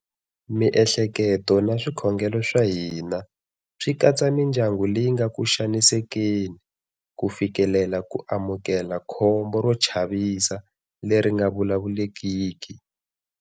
Miehleketo na swikhongelo swa hina swi katsa mindyangu leyi nga ku xanisekeni ku fikelela ku amukela khombo ro chavisa leri nga vulavulekiki.